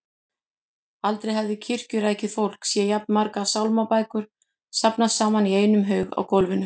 Aldrei hafði kirkjurækið fólk séð jafn margar sálmabækur safnast saman í einum haug á gólfinu.